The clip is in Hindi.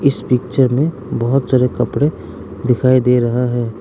इस पिक्चर में बहुत सारे कपड़े दिखाई दे रहा है।